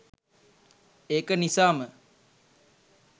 ඒක නිසාම